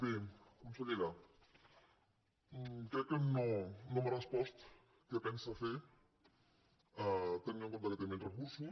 bé consellera crec que no m’ha respost què pensa fer tenint en compte que té menys recursos